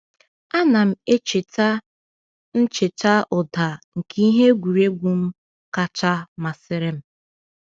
A na m echeta m echeta ụda nke ihe egwuregwu m kacha masịrị m.